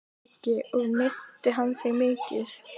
Breki: Og meiddi hann sig mikið?